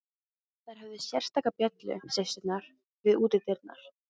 Þær höfðu sérstaka bjöllu, systurnar, við útidyrnar.